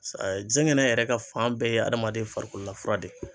zɛgɛnɛ yɛrɛ ka fan bɛɛ ye adamaden farikololafura de ye